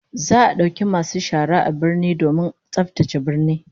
Za'a dauki masu shara a birnin aiki domin tsaftace birnin